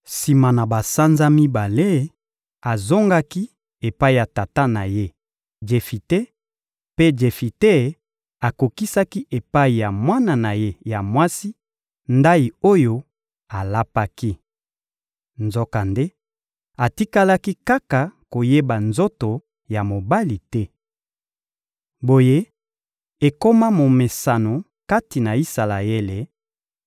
Sima na basanza mibale, azongaki epai ya tata na ye, Jefite; mpe Jefite akokisaki epai ya mwana na ye ya mwasi, ndayi oyo alapaki. Nzokande, atikalaki kaka koyeba nzoto ya mobali te. Boye, ekoma momesano kati na Isalaele: